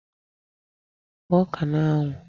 Gbaa ọka a n'anwụ!